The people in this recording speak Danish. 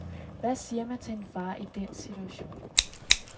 Hvad siger man til en far i den situation.